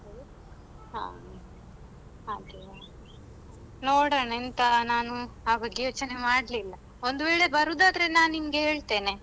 ಹಾ ಹಾಗೆಯಾ.ನೋಡೋಣ ಎಂತ ನಾನು ಆ ಬಗ್ಗೆ ಯೋಚನೆ ಮಾಡ್ಲಿಲ್ಲ ಒಂದು ವೇಳೆ ಬರುದಾದ್ರೆ ನಾನ್ ನಿನ್ಗೆ ಹೇಳ್ತೇನೆ.